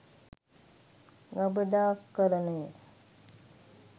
ගබඩාකරණය